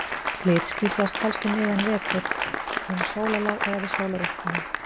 Glitský sjást helst um miðjan vetur, um sólarlag eða við sólaruppkomu.